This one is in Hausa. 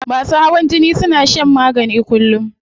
Masu hawan jini suna shan magani kullum